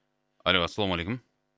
алло ассалаумағалейкум